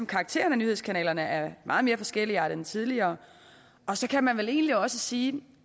karakteren af nyhedskanalerne er meget mere forskelligartet end tidligere så kan man vel egentlig også sige